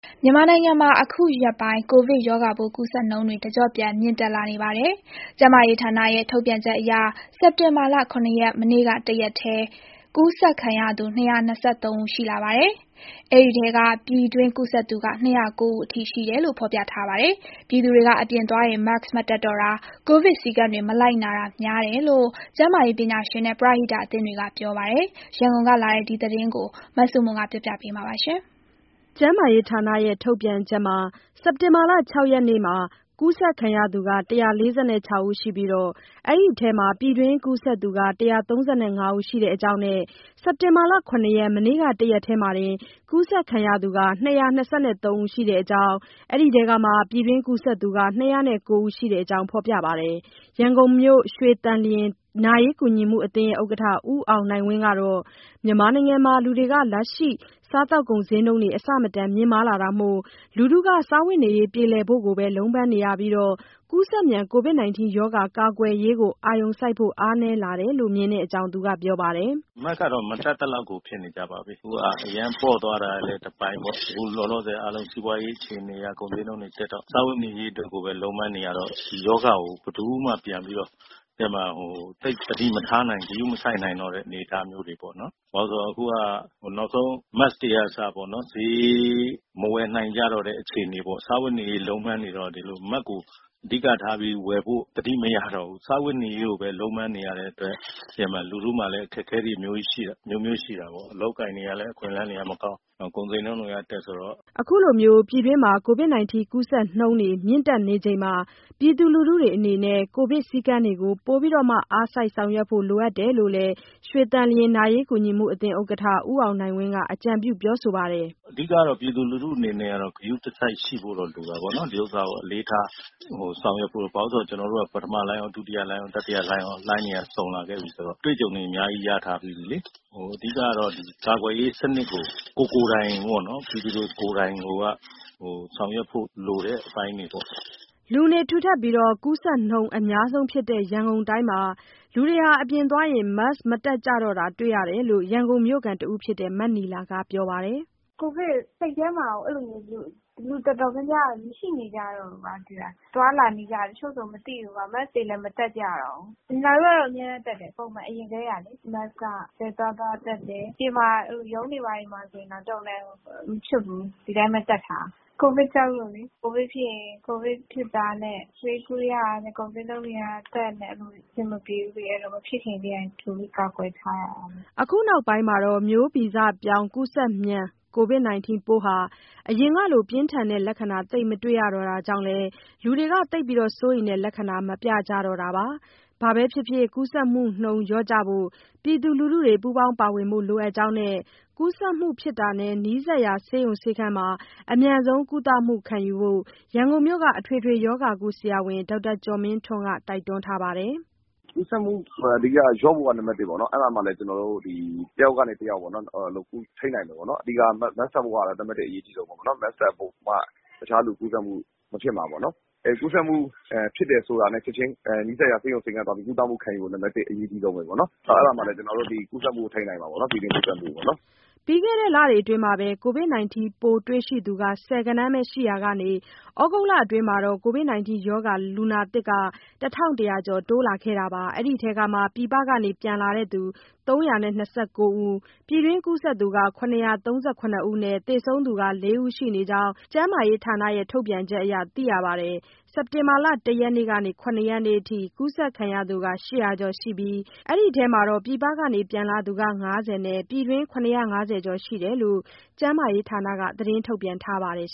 မြန်မာနိုင်ငံ အခုရက်ပိုင်း ကိုဗစ်ရောဂါပိုး ကူးစက်နှုန်းတွေ တကျော့ပြန်မြင့်တက် လာနေပါတယ်။ ကျန်းမာရေးဌာနရဲ့ ထုတ်ပြန်ချက်အရ စက်တင်ဘာ ၇ ရက် မနေ့ကတရက်တည်း ကူးစက်ခံသူ ၂၂၃ ဦး ရှိလာပြီး အဲဒီထဲက ပြည်တွင်း ကူးစက် မှု ၂၀၉ ဦးအထိ ရှိတယ်လို့ ဖော်ပြထားပါတယ်။ လူထုတွေက အပြင်သွားရင် Mask မတပ်တော့တာ၊ ကိုဗစ်စည်းကမ်းတွေမလိုက်နာတာ များတယ်လို့ ကျန်းမာရေးပညာရှင်နဲ့ ပရဟိတအသင်းတွေက ပြောပါတယ်။ရန်ကုန်ကလာတဲ့ ကိုဗစ် သတင်းကို မဆုမွန်က တင်ပြပေးထားပါတယ်။ ကျန်းမာရေးဌာနရဲ့ ထုတ်ပြန်ချက်မှာ စက်တင်ဘာ ၆ ရက်နေ့ ကူးစက်ခံရသူ ၁၄၆ ဦးရှိပြီး အဲဒီအထဲမှာ ပြည်တွင်း ကူးစက်သူက ၁၃၅ ဦးရှိတဲ့အကြောင်းနဲ့ စက်တင် ဘာ ၇ ရက် မနေ့က တရက်တည်းမှာ ကူးစက်ခံသူ ၂၂၃ ဦး ရှိတဲ့အကြောင်း၊ အဲ့ဒီထဲက ပြည်တွင်းကူးစက်သူ ၂၀၉ ဦးရှိတဲ့အကြောင်း ဖေါ်ပြပါတယ်။ ရန်ကုန်မြို့ ရွှေသန်လျင်နာရေးကူညီမှုအသင်း ဥက္ကဋ္ဌ ဦးအောင်နိုင်ဝင်းကတော့ မြန်မာနိုင်ငံမှာ လူတွေက လက်ရှိ စားသောက်ကုန်ဈေးနှုန်းတွေ အဆမတန်မြင့်မားလာတာမို့ လူထုတွေက စားဝတ်နေရေး ပြေလည်ဖို့ကိုပဲ လုံးပန်းနေရပြီး ကူးစက်မြန် ကိုဗစ်ရောဂါ ကာကွယ်ရေးကိုအာရုံစိုက်ဖို့ အားနည်းလာတယ်လို့ မြင်တဲ့အကြောင်း ပြောဆိုပါတယ်။ “Mask ကတော့ မတပ်သလောက်ကို ဖြစ်နေကြပါပြီ။ အခုက အရမ်းပေါ့သွားတာလည်း တပိုင်းပေါ့။ အခုလောလောဆယ်က အားလုံးစီးပွားရေးအခြေအနေက ကုန်ဈေးနှုန်းတွေတက်တော့ စားဝတ်နေရေးအတွက်ပဲ လုံးပမ်းနေရတော့ ဒီရောဂါကို ဘယ်သူမှပြန်ပြီးတော့ သိပ် သတိမထားနိုင်၊ ဂရုမစိုက်နိုင်တော့တဲ့အနေအထားမျိုးတွေပေါ့နော်။ ဘာလို့လဲဆိုတော့ အခုက နောက်ဆုံး Mask တွေကအစပေါ့နော်- မဝယ်နိုင်ကြတော့တဲ့ အခြေအနေပေါ့။ စားဝတ်နေရေး လုံးပမ်းနေတော့ ဒီလို Mask ကို အဓိကထားပြီး ဝယ်ဖို့ သတိမရတော့ဘူး။ သိတယ်မလား လူထုတွေလည်း အခက်အခဲတွေ အမျိုးမျိုးရှိတာပေါ့။ အလုပ်အကိုင်တွေ၊ အခွင့်အလမ်းတွေကလည်း မကောင်း၊ နောက် ကုန်ဈေးနှုန်းတွေက တက်ဆိုတော့။” ပြည်းတွင်းကူးစက်နှုန်း အခုလို မြင့်တက်နေချိန်မှာ ပြည်သူလူထုအနေနဲ့ ကိုဗစ်စည်းကမ်းတွေကို ပိုမို အားစိုက် ဆောင်ရွက်ဖို့လိုအပ်တယ်လို့ ရွှေသန်လျင်နာရေးကူညီမှုအသင်း ဥက္ကဋ္ဌ ဦးအောင်နိုင်ဝင်းက ကြုံပြု ပြောဆိုပါတယ်။ “ အဓိက ပြည်သူလူထုအနေနဲ့ကတော့ ဂရုတစိုက်ရှိဖို့တော့ လိုတာပေါ့နော်။ ဒီ ဥစ္စာကို အလေးထားဆောင်ရွက်ဖို့။ ဘာလို့လဲဆိုတော့ပထမလှိုင်းရော၊ ဒုတိယလှိုင်းရော၊ တတိယလှိုင်းရော၊ လှိုင်းတွေက စုံလာခဲ့ပြီဆိုတော့ အတွေ့အကြံတွေ အများကြီးရထားပြီးပြီလေ။ ကာကွယ်ရေးစနစ်ကို ကိုယ်ကိုယ်တိုင်ပေါ့နော်- ပြည်သူကိုယ်တိုင်ကိုက ဆောင်ရွက်ဖို့လိုတဲ့အပိုင်းတွေပေါ့။” လူနေထူတပ်ပြီး ကူးစက်နှုန်း အများဆုံးဖြစ်တဲ့ ရန်ကုန်တိုင်းမှာ လူတွေက အပြင် သွားရင် Mask မတပ်ကြတာ တွေ့ရတယ်လို့ ရန်ကုန်မြို့ခံတဦးဖြစ်တဲ့ မနီလာက ပြောပါတယ်။ “ကိုဗစ်- စိတ်ထဲမှာကို အဲ့လို လူတော်တော်များများက မရှိနေကြတော့ဘူး၊ သိလား။ သွားလာနေကြ တချို့ဆို မသိဘူးကွာ၊ Mask တွေလည်း မတပ်ကြတော့ဘူး။ နီလာတို့ကတော့ အမြဲတမ်းတပ်တယ်။ ပုံမှန် အရင်ကတည်းကလေ၊ Mask က ဘယ်သွားသွားတပ်တယ်။ အပြင်မှာ ရုံးတွေဘာတွေဆို တော်ရုံတန်ရုံ မချွတ် ဘူး၊ ဒီတိုင်းပဲတပ်ထားတာ။ ကိုဗစ်ကြောက်လို့လေ။ ကိုဗစ်ဖြစ်ရင် ကိုဗစ်တာနဲ့ ဆေးကုရတာနဲ့ ကုန်ဈေးနှုန်းတွေကတက်နဲ့ အဆင်မပြေဘူးလေ။ အဲ့တော့ မဖြစ်ခင် ကြိုပြီးကာကွယ်ထားရတာ။” အခု နောက်ပိုင်း မျိုးဗဇပြောင်း ကူးစက်မြန် ကိုဗစ်ပိုးဟာ အရင်ကလို ပြင်းထန်တဲ့လက္ခဏာ သိပ်မတွေ့ရတာကြောင့်လည်း လူတွေက သိပ်စိုးရိမ်တဲ့လက္ခဏာ မပြကြတော့တာပါ။ ဘာပဲဖြစ်ဖြစ် ကူးစက်မှုနှုန်း လျော့ကျဖို့ ပြည်သူလူထုတွေ ပူးပေါင်းပါဝင်ဖို့ လိုအပ်ကြောင်းနဲ့ ကူးစက်မှုဖြစ်တာနဲ့ နီးစပ်ရာဆေးရုံဆေးခန်းမှာ အမြန်ဆုံးကုသမှုခံယူဖို့ ရန်ကုန်မြို့က အထွေထွေရောဂါကု ဆရာဝန် ဒေါက်တာကျော်မင်းထွန်း တိုက်တွန်းထားပါတယ်။ “ကူးစက်မှု အဓိကလျော့ဖို့က နံပါတ် ပေါ့နော်။ အဲ့ဒါမှလည်း ဒီ တယောက်ကနေ တယောက်ပေါ့နော် ထိန်းနိုင်မှာပေါ့နော်။ အဓိက Mask တပ်ဖို့က နံပါတ် အရေးကြီးဆုံးမှာပေါ့နော်။ Mask တပ်ဖို့မှ တခြားလူကူးစက်မှုမဖြစ်မှာပေါ့နော်။ ကူးစက်မှုဖြစ်တယ်ဆိုတာနဲ့ ချက်ချင်းနီးစပ်ရာ ဆေးရုံဆေးခန်းသွားပြီး ကုသမှုခံယူဖို့ နံပါတ် အရေးကြီးပဲပေါ့နော်။ အဲ့ဒါမှ ကျနော်တို့ ကူးစက်မှုထိန်းနိုင်မှာပေါ့နော် ပြည်တွင်းကူးစက်မှုပေါ့နော်။” ပြီးခဲ့တဲ့လတွေအတွင်း ကိုဗစ်ပိုးတွေ့ရှိသူ ဆယ်ဂဏန်းပဲရှိရာကနေ သြဂုတ်လအတွင်းမှာ ကိုဗစ်ရောဂါလူနာသစ် ၁,၁၀၀ ကျော် တိုးလာခဲ့တာပါ။ အဲဒီအထဲက ပြည်ပက ပြန်လာသူ ၃၂၉ ဦး၊ ပြည်တွင်းကူးစက်သူက ၇၃၇ ဦးနဲ့ သေဆုံးသူက ၄ ဦး ရှိနေကြောင်း ကျန်းမာရေးဌာနရဲ့ထုတ်ပြန်ချက်အရ သိရပါတယ်။ စက်တင်ဘာ ၁ ရက်ကနေ ၇ ရက်အထိ ကူးစက်ခံရသူ ၈၀၀ ကျော်ရှိပြီး အဲဒီထဲမှာ ပြည်ပက ပြန်လာသူ ၅၀ ဦးနဲ့ ပြည်တွင်း ၇၅၀ ကျော်ရှိတယ်လို့ ကျန်းမာရေးဌာနက သတင်း ထုတ်ပြန်ထားပါတယ်